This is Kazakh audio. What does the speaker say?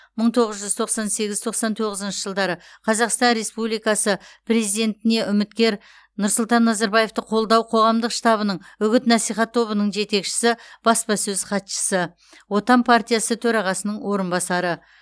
мың тоғыз жүз тоқсан сегіз тоқсан тоғызыншы жылдары қазақстан республикасы президентіне үміткер нұрсұлтан назарбаевты қолдау қоғамдық штабының үгіт насихат тобының жетекшісі баспасөз хатшысы отан партиясы төрағасының орынбасары